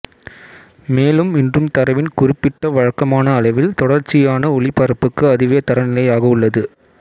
மேலும் இன்றும் தரவின் குறிப்பிட்ட வழக்கமான அளவில் தொடர்ச்சியான ஒலிபரப்புக்கு அதுவே தரநிலையாக உள்ளது